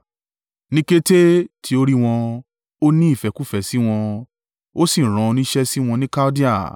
Ní kété tí ó rí wọn, ó ní ìfẹ́kúfẹ̀ẹ́ sí wọn, ó sì rán oníṣẹ́ sí wọn ni Kaldea.